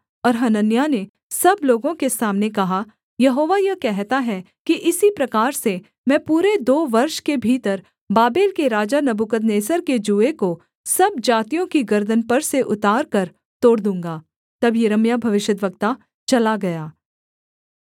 और हनन्याह ने सब लोगों के सामने कहा यहोवा यह कहता है कि इसी प्रकार से मैं पूरे दो वर्ष के भीतर बाबेल के राजा नबूकदनेस्सर के जूए को सब जातियों की गर्दन पर से उतारकर तोड़ दूँगा तब यिर्मयाह भविष्यद्वक्ता चला गया